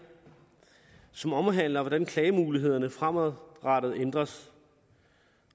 som omhandler hvordan klagemulighederne fremadrettet ændres